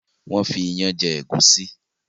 Wón fí iyán jé egusi.